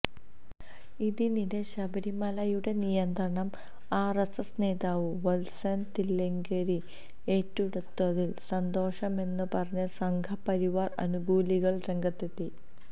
ഇതിനിടെ ശബരിമലയുടെ നിയന്ത്രണം ആര്എസ്എസ് നേതാവ് വത്സന് തില്ലങ്കേരി ഏറ്റെടുത്തതില് സന്തോഷമെന്ന് പറഞ്ഞ് സംഘപരിവാര് അനുകൂലികള് രംഗത്തെത്തി